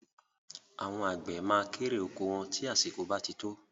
Àwọn àgbẹ̀ ma kérè oko wọn tí àsìkò bá ti tó